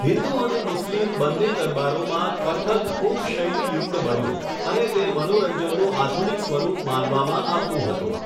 હિન્દુ અને મુસ્લિમ બંને દરબારોમાં, કથક ખૂબ શૈલીયુક્ત બન્યું અને તે મનોરંજનનું આધુનિક સ્વરૂપ માનવામાં આવતું હતું.